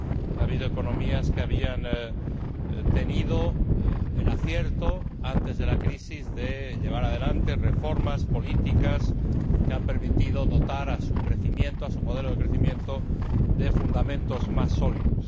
ha habido economías que habían tenido el acierto, antes de la crisis, de llevar adelante reformas políticas que han permitido dotar a su modelo de crecimiento de fundamentos más sólidos.